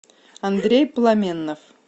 андрей пламеннов